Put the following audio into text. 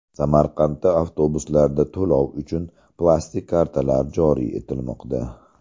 Samarqandda avtobuslarda to‘lov uchun plastik kartalar joriy etilmoqda.